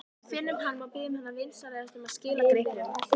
Við finnum hana og biðjum hana vinsamlega að skila gripnum.